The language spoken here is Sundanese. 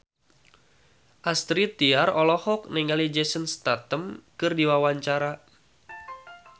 Astrid Tiar olohok ningali Jason Statham keur diwawancara